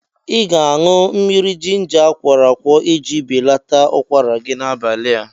Ị ga-aṅụ mmiri jinja akwọrọ akwọ iji belata ụkwara gị n'abalịa